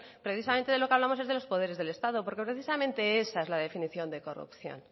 precisamente de lo que hablamos es de los poderes del estado porque precisamente esa es la definición de corrupción